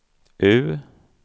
U